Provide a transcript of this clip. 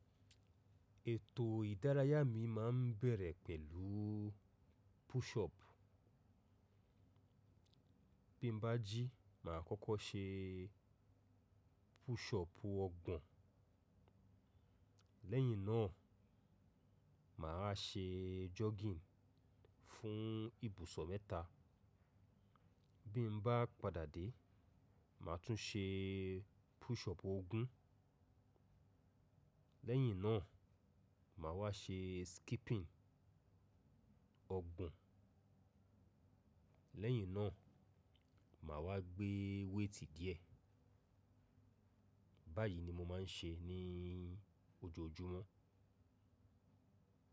Ètò ìdárayá mi máa ń bẹ̀rẹ̀ pẹ̀lú push up. Bí m bá jí, màá kọ́kọ́ ṣe push up ọgbọ̀n. Lẹ́yìn náà, màá wá ṣe jogging fún ìbùsọ̀ mẹ́ta. Bí mo bá padà dé, màá tún ṣe push up ogún. Lẹ́yìn náà, màá wá ṣe skipping ọgbọ̀n. Lẹ́yìn náà máa wá gbé weight díẹ̀. Báyìí ni mo máa ń ṣe ní ojoojúmọ́.